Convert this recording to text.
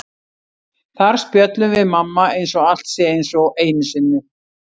Þar spjöllum við mamma eins og allt sé eins og einu sinni.